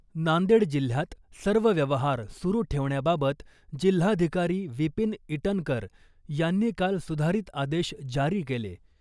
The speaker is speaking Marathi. नांदेड जिल्ह्यात सर्व व्यवहार सुरु ठेवण्याबाबत जिल्हाधिकारी विपीन इटनकर यांनी काल सुधारीत आदेश जारी केले .